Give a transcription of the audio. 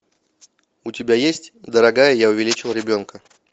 у тебя есть дорогая я увеличил ребенка